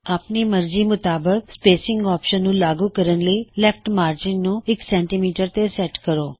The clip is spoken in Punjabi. ਆਪਨੀ ਮਰਜੀ ਮੁਤਾਬਕ ਸਪੇਸਿਂਗ ਆਪਸ਼ਨ ਨੂੰ ਲਾਗੂ ਕਰਨ ਲਈ ਲੈਫਟ ਮਾਰਗਿਨ ਖੱਬੇ ਹਾਸ਼ਿਏ ਨੂੰ 100ਸੀਐੱਮ ਤੇ ਸੈਟ ਕਰੋ